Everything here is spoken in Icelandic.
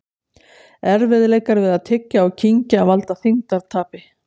Erfiðleikar við að tyggja og kyngja valda þyngdartapi.